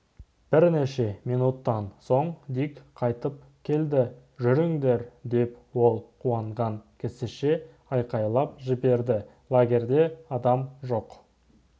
бірнеше минуттан соң дик қайтып келді жүріңдер деп ол қуанған кісіше айқайлап жіберді лагерьде адам жоқ